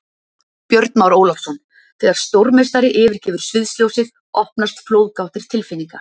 Björn Már Ólafsson Þegar stórmeistari yfirgefur sviðsljósið opnast flóðgáttir tilfinninga.